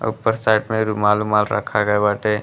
अ ऊप्पर साइड में रुमाल उमाल रखल ग़इल बाटे।